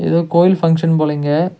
எதோ கோயில் பங்க்ஷன் போல இங்க.